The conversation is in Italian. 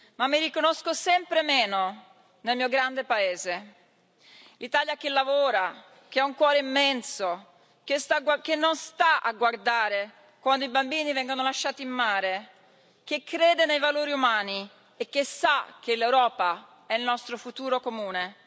Ma mi riconosco sempre meno nel mio grande paese l'Italia che lavora, che ha un cuore immenso, che non sta a guardare quando i bambini vengono lasciati in mare, che crede nei valori umani e che sa che l'Europa è il nostro futuro comune.